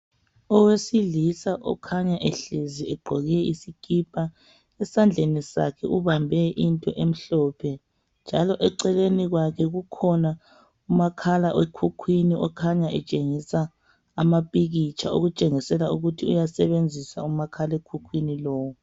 Owesilisa okhanya ehlezi egqoke isikipa, esandleni sakhe ubambe into emhlophe, njalo eceleni kwakhe kukhona umakhala ekhukhwini okhanya etshengisa amapikitsha okutshengisela ukuthi uyasebenzisa umakhalekhukhwini lowu.